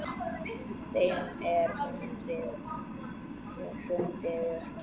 Þeim er hrundið upp.